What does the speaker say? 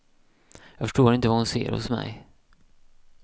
Jag förstår inte vad hon ser hos mig.